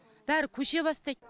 бәрі көше бастайды